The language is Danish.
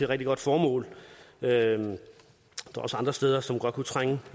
rigtig godt formål der er også andre steder som godt kunne trænge